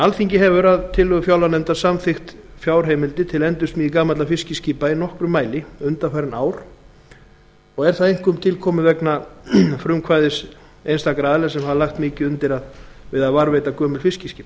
alþingi hefur að tillögu fjárlaganefndar samþykkt fjárheimildir til endursmíði gamalla fiskiskipa í nokkrum mæli undanfarin ár einkum vegna frumkvæðis einstakra aðila sem hafa lagt mikið undir við að varðveita gömul fiskiskip